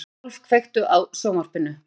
Aðólf, kveiktu á sjónvarpinu.